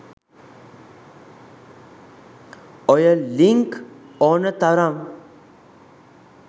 ඔය ලින්ක් ඕන ත‍රම්